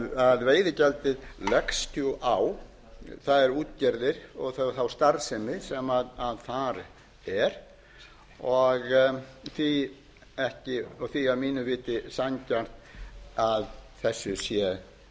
því veiðigjaldið leggst á þær útgerðir og þá starfsemi sem þar er og því að mínu viti sanngjarnt að þessu sé